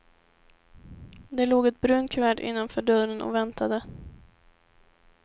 Det låg ett brunt kuvert innanför dörren och väntade.